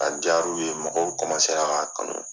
A diyar'u ye mɔgɔw k'a kanu.